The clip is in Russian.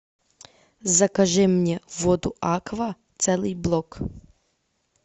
закажи мне воду аква целый блок